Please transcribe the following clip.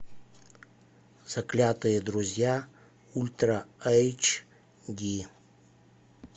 заклятые друзья ультра эйч ди